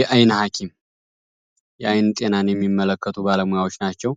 የአይን ሀኪም የአይን ጤናን የሚመለከቱ ባለሞያዎች ናቸው።